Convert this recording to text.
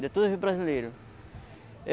De todos os brasileiros.